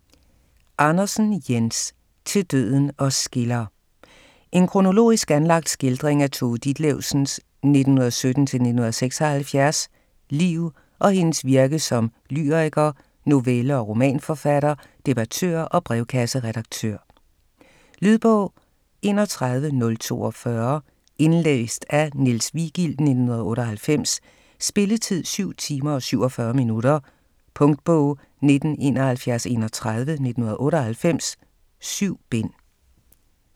Andersen, Jens: Til døden os skiller En kronologisk anlagt skildring af Tove Ditlevsens (1917-1976) liv og hendes virke som lyriker, novelle- og romanforfatter, debattør og brevkasseredaktør. Lydbog 31042 Indlæst af Niels Vigild, 1998. Spilletid: 7 timer, 47 minutter. Punktbog 197131 1998. 7 bind.